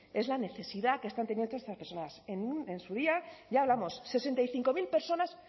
es la necesidad que están teniendo estas personas en su día ya hablamos sesenta y cinco mil personas